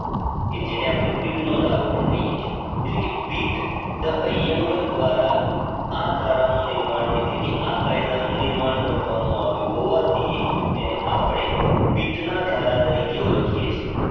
કે જેને આપડે પિત્ત નો ધારો પણ કહીયે છીયે એટલે કે પીટ અયંગર દ્વારા આ ધારાનું નિર્માણ એટલે કે આ કાયદા નું નિર્માણ કરવામાં આવ્યું હોવાથી એને અપડે પીટ ના ધારા તરીકે ઓળખીયે છીયે